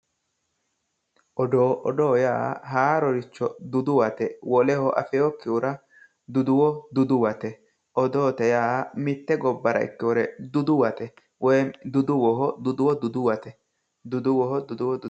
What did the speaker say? Odoo, Odoo yaa haaroricho duduwate woleho afeewokkihura duduwo duduwate, odoote yaa mitte gobbara ikkewore duduwate woyim duduwoho duduwo duduwate.